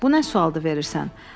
Bu nə sual veririrsən?